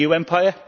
A new empire?